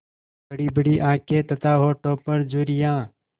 बड़ीबड़ी आँखें तथा होठों पर झुर्रियाँ